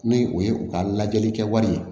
Ni o ye u ka lajɛli kɛ wali ye